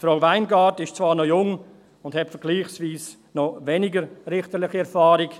Frau Weingart ist zwar noch jung und hat vergleichsweise noch weniger richterliche Erfahrung.